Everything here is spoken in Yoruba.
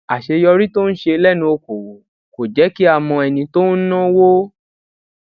àṣeyọrí tó ń ṣe lénu okòwò kò jé kí á mọ ẹni tó ń náwó